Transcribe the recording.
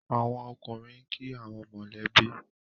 àwọn ọkùnrin nki awon mọ lẹ bi.